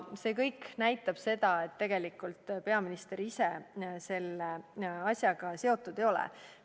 See kõik näitab, et peaminister ise selle asjaga tegelikult seotud ei ole.